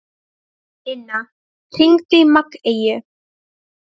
Inna, hringdu í Maggeyju.